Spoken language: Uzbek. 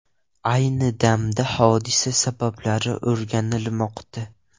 Ayni damda hodisa sabablari o‘rganilmoqda.